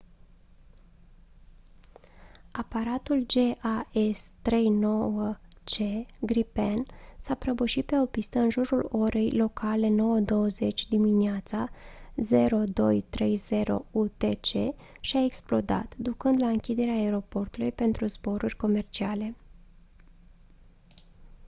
aparatul jas 39c gripen s-a prăbușit pe o pistă în jurul orei locale 9:20 a.m. 0230 utc și a explodat ducând la închiderea aeroportului pentru zboruri comerciale